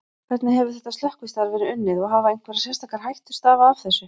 Hvernig hefur þetta slökkvistarf verið unnið og hafa einhverjar sérstakar hættur stafað af þessu?